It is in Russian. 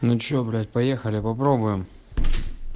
ну что блядь поехали попробуем